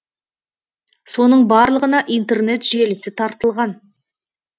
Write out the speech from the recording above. соның барлығына интернет желісі тартылған